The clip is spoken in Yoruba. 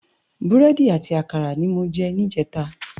Búrèdi àti àkárá ni mó jè nijètá